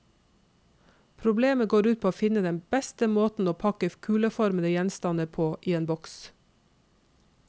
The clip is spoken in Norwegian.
Problemet går ut på å finne den beste måten å pakke kuleformede gjenstander på i en boks.